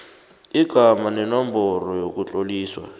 igama nenomboro yokutloliswa